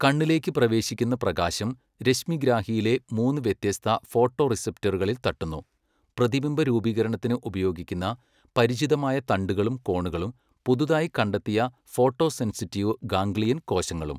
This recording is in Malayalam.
കണ്ണിലേക്ക് പ്രവേശിക്കുന്ന പ്രകാശം രശ്മിഗ്രാഹിയിലെ മൂന്ന് വ്യത്യസ്ത ഫോട്ടോറിസെപ്റ്ററുകളിൽ തട്ടുന്നു, പ്രതിബിംബ രൂപീകരണത്തിന് ഉപയോഗിക്കുന്ന പരിചിതമായ തണ്ടുകളും കോണുകളും പുതുതായി കണ്ടെത്തിയ ഫോട്ടോസെൻസിറ്റീവ് ഗാംഗ്ലിയൻ കോശങ്ങളും.